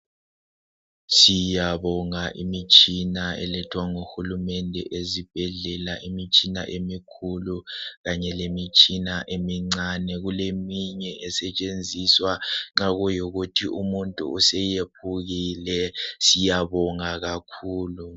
Siyabonga imitshina elethwa ngodokotela ezibhedlela imitshina emikhulu kanye lemitshina emincani kuleminye esetshenziswa nxa kuyikuthi umuntu useyephukile siyabonga kakhulu